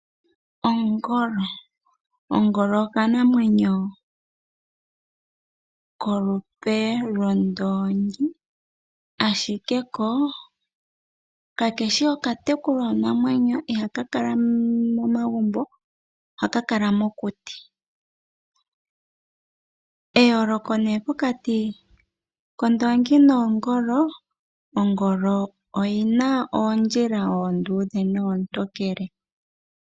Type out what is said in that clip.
Ongolo, nongolo okanamwenyo kolupe lwoondoongi ashike ko kakeshi okutekulwa namwenyo, ihaka kala momagumbo ohaka kala mokuti. Eyoolooko nee pokati kondoongi nongolo, ongolo oyina oondjila oonduudhe noontokele.